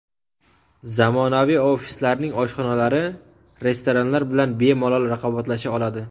Zamonaviy ofislarning oshxonalari restoranlar bilan bemalol raqobatlasha oladi.